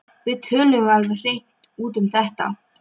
Við töluðum alveg hreint út um þetta.